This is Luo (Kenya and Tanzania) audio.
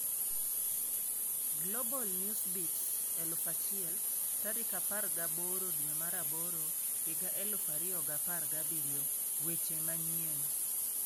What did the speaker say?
Global Newsbeat 1000 18/08/2017 Weche Manyien